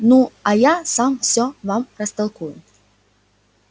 ну а я сам все вам растолкую